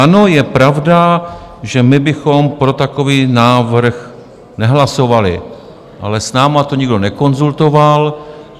Ano, je pravda, že my bychom pro takový návrh nehlasovali, ale s námi to nikdo nekonzultoval.